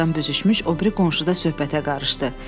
Soyuqdan büzüşmüş o biri qonşu da söhbətə qarışdı.